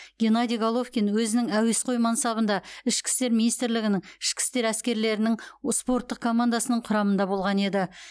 геннадий головкин өзінің әуесқой мансабында ішкі істер министрлігінің ішкі істер әскерлерінің спорттық командасының құрамында болған еді